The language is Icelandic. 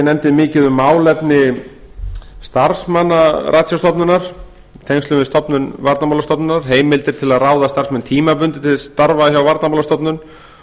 nefndin mikið um málefni starfsmanna ratsjárstofnunar í tengslum við stofnun varnarmálastofnunar heimildir til að ráða starfsmenn tímabundið til starfa hjá varnarmálastofnun